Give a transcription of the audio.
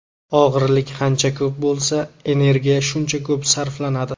Og‘irlik qancha ko‘p bo‘lsa, energiya shuncha ko‘p sarflanadi.